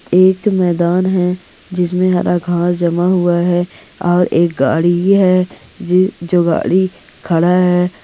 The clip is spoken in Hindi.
एक मैदान है जिसमे हरा घास जमा हुआ है और एक गाड़ी है जे जो गाड़ी खड़ा है।